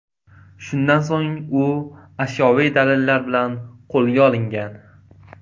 Shundan so‘ng u ashyoviy dalillar bilan qo‘lga olingan.